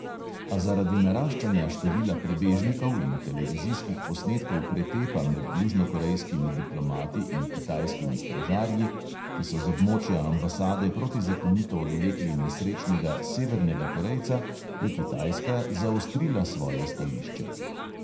A zaradi naraščanja števila prebežnikov in televizijskih posnetkov pretepa med južnokorejskimi diplomati in kitajskimi stražarji, ki so z območja ambasade protizakonito odvlekli nesrečnega severnega korejca, je kitajska zaostrila svoje stališče.